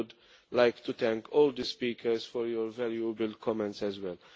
I would like to thank all the speakers for your valuable comments as well.